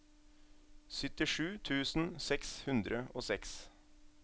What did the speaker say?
syttisju tusen seks hundre og seks